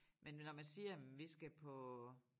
Men når man siger hm vi skal på